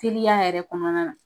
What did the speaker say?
Teriya yɛrɛ kɔnɔna na .